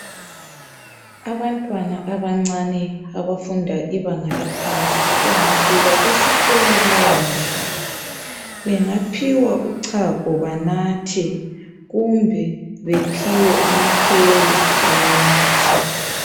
Abantwana abancane abafunda ibanga laphansi bengafika esikolo bayadla. Bengaphiwa uchago banathe kumbe bephiwe mahewu banathe.